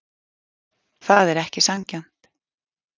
Það er ekki sanngjarnt.